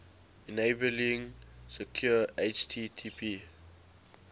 enabling secure http